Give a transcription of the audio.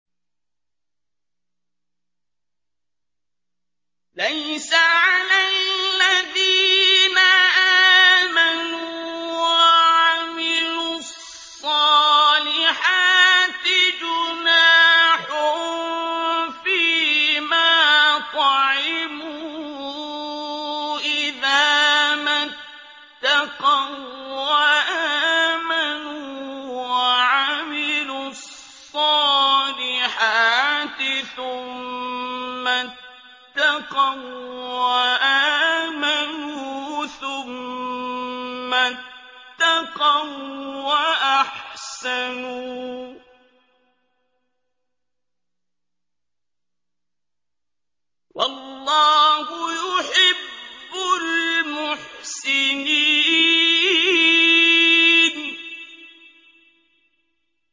لَيْسَ عَلَى الَّذِينَ آمَنُوا وَعَمِلُوا الصَّالِحَاتِ جُنَاحٌ فِيمَا طَعِمُوا إِذَا مَا اتَّقَوا وَّآمَنُوا وَعَمِلُوا الصَّالِحَاتِ ثُمَّ اتَّقَوا وَّآمَنُوا ثُمَّ اتَّقَوا وَّأَحْسَنُوا ۗ وَاللَّهُ يُحِبُّ الْمُحْسِنِينَ